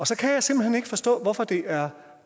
så kan jeg simpelt hen ikke forstå hvorfor det er